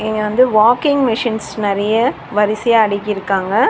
இங்க வந்து walking machines நறிய வரிசையா அடுக்கிருக்காங்க.